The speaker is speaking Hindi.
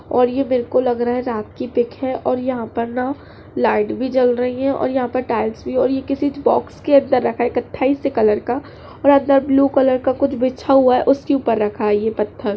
और यह बिलकुल लग रहा है रात की पिक है और यहाँ पर ना लाइट भी जल रही हैं (है) और यहाँ पर टाइल्स भी और यह किसी बॉक्स के अंदर रखा है कत्थई से कलर का और अंदर ब्लू कलर का कुछ बिछा हुआ है उसके ऊपर रखा है यह पत्थर।